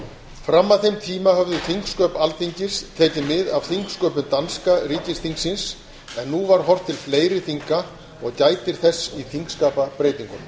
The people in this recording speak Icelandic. fram að þeim tíma höfðu þingsköp alþingis tekið mið af þingsköpum danska ríkisþingsins en nú var horft til fleiri þinga og gætir þess í þingskapabreytingunum